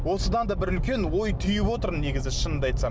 осыдан да бір үлкен ой түйіп отырмын негізі шынымды айтсам